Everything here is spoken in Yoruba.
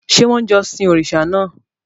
Ṣé wọ́n ń jọ́sìn òrìṣà náà?